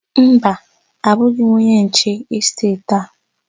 Mba, abụghị m onye nche n'esteeti a.